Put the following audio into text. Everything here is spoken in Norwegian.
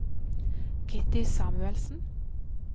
Kitty Samuelsen